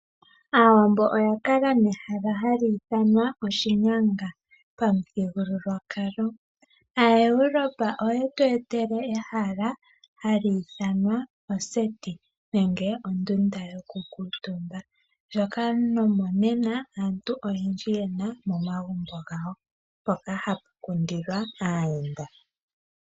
Aawambo oya kala nehala hali ithinwa oshinyanga pa muthigululwakalo. AaEurope oye tu etele ehala hali ithanwa oseti nenge ondunda yoku kuutumba . Ndjoka nomonena aantu oyendji yena momagumbo gawo mpoka hapu kundilwa aayenda.